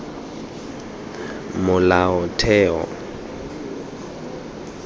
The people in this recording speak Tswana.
molaotheo